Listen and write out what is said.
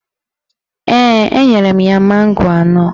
Ee, enyere m ya mango anọ